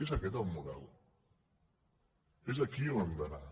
és aquest el model és aquí on hem d’anar